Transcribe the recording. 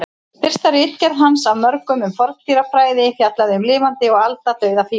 Fyrsta ritgerð hans af mörgum um forndýrafræði fjallaði um lifandi og aldauða fíla.